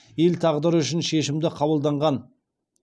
ел тағдыры үшін шешімді қабылданған